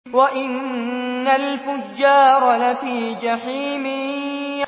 وَإِنَّ الْفُجَّارَ لَفِي جَحِيمٍ